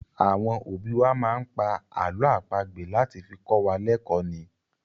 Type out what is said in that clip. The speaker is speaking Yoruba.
Àwọn òbí wá máa ń pá àlọ́ àpagbè láti fi kọ́ wa lẹkò ni.